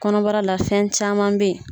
Kɔnɔbarala fɛn caman be yen